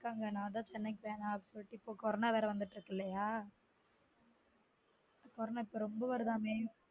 சொன்னங்க நான் தான் chennai க்கு வேணான் அப்டி சொல்லிட்டு இப்ப corona வந்துட்டு இருக்கு இல்லயா corona இப்ப ரொம்ப வருதாமே